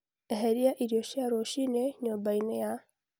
eheria irio cia rũcinĩ nyũmba-inĩ ya Tiffany